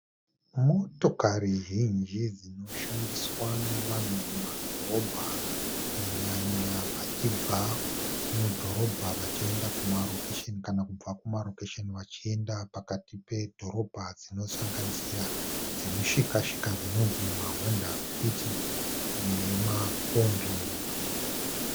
Motakari zhinji dzinoshandiswa nevanhu mumadhorobha kunyanya vachibva mudhorobha vachienda kumarokesheni kana kubva kumarokesheni vachienda pakati pedhorobha dzinosanganisira dzemushikashika dzinonzi maHonda Fit nemakombi.